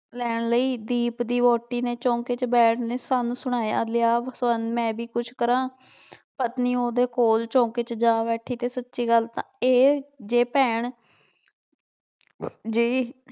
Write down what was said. ਲੈਣ ਲਈ ਦੀਪ ਦੀ ਵਹੁਟੀ ਨੇ ਚੌਂਕੇ ਚ ਸਾਨੂੰ ਸੁਣਾਇਆ, ਲਿਆ ਸਵਰਨ ਮੈਂ ਵੀ ਕੁਛ ਕਰਾਂ ਪਤਨੀ ਉਹਦੇ ਕੋਲ ਚੌਂਕੇ ਚ ਜਾ ਬੈਠੀ ਤੇ ਸੱਚੀ ਗੱਲ ਤਾਂ ਇਹ ਜੇ ਭੈਣ ਜਿਹੀ